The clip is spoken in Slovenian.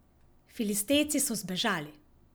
Filistejci so zbežali.